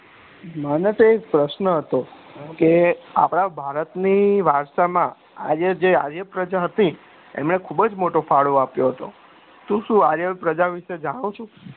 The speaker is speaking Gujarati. મને તો એક પ્રશ્ન હતો કે આપણા ભારત ના વારસા માં આજે આજે જે પ્રજા હતી તમને ખુબ જ મોટો ફાળો આપ્યો હતો તું શું આ પ્રજા વિષે જાણું છું